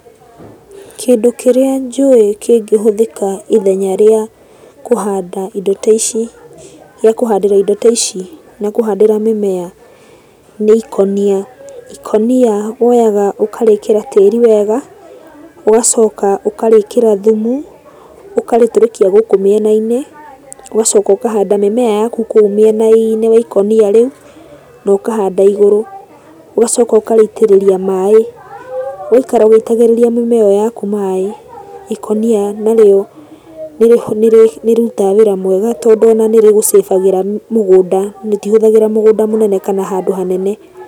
Kĩndũ kĩrĩa njũĩ kĩngĩhũthĩka ithenya rĩa kũhanda indo ta ici, gĩa kũhandĩra ido ta ici na kũhandĩra mĩmea, nĩ ikũnia. Ikũnia woyaga ũkarĩkĩra tĩri wega, ũgacoka ũkarĩkĩra thumu, ũkarĩtũrĩkia gũkũ miena-inĩ, ũgacoka ũkahanda mĩmea yaku kũu mĩena-iinĩ wa ikũnia rĩu, na ũkahanda igũrũ. Ũgacoka ũkarĩitĩrĩria maĩ, ũgaikara ũgĩitagĩrĩria mĩmea ĩyo yaku maĩ. Ikũnia narĩo, nĩrĩrutaga wĩra mwega tondũ ona nĩrĩgũ save agĩra mũgũnda. Rĩtihũthagĩra mũgũnda mũnene kana handũ hanene.